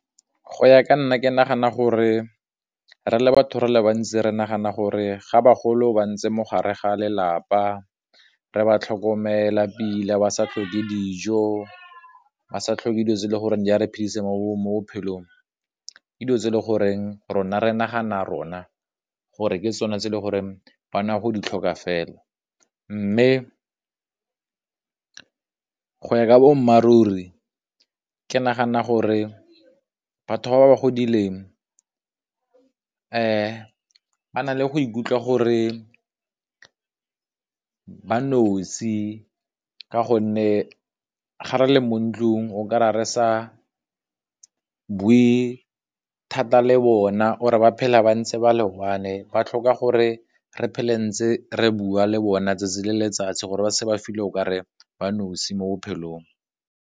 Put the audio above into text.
Go ya ka nna ke nagana gore re le batho re le bantsi re nagana gore, ga bagolo ba ntse mo gare ga lelapa re ba tlhokomela pila ba sa tlhoke dijo ba sa tlhoke dilo tse le gore di a re phedise mo bophelong ke dilo tse e le goreng rona re nagana rona, gore ke tsone tse le gore go ditlhoka fela, mme ka boammaaruri ke nagana gore batho ba ba godileng fa ba na le go ikutlwa gore ba nosi ka gonne ga re le mo ntlung oka ra re sa bui thata le bona, or ba phela ba ntse ba le one, ba tlhoka gore re phele ntse re bua le bona 'tsatsi le letsatsi gore ba okare ba nosi mo bophelong.